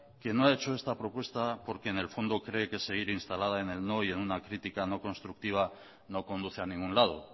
que no ha hecho esta propuesta porque en el fondo cree que seguir instalada en el no y en una crítica no constructiva no conduce a ningún lado